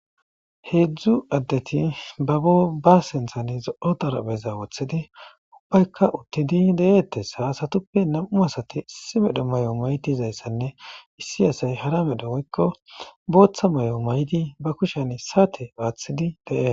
Heedzdzu addeti babo ba senthan zo7o darabeza woththidi ubbaykka uttidi deeettes hasatuppe nam7u asati issi medho may7o maydizayssanne issi asay hara medho woykko booththa may7o may7di ba kushen saate aaththidi de7e